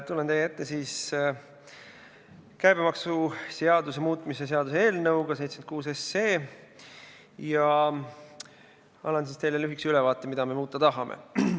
Tulen teie ette käibemaksuseaduse muutmise seaduse eelnõuga 76 ja annan teile lühikese ülevaate, mida me muuta tahame.